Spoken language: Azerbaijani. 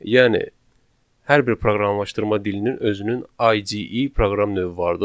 Yəni hər bir proqramlaşdırma dilinin özünün IDE proqram növü vardır.